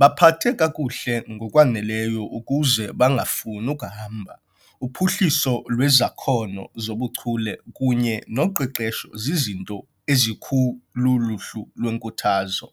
baphathe kakuhle ngokwaneleyo ukuze bangafuni ukuhamba.' Uphuhliso lwezakhono zobuchule kunye noqeqesho zizinto ezikuluhlu lwenkuthazo.